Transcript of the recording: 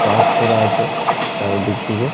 Park করা আছে চারিদিক দিকে।